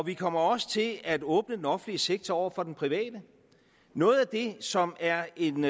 vi kommer også til at åbne den offentlige sektor over for den private noget af det som er en